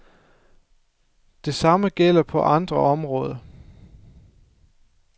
Det samme gælder på andre områder.